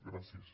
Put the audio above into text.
gràcies